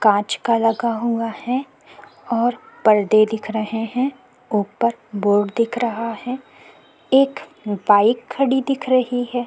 कांच का लगा हुआ है और परदे देख रहे हैं ऊपर बोर्ड देख रहा है एक बाइक खड़ी देख रही है।